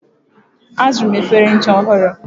Azụrụ m efere ncha ọhụrụ.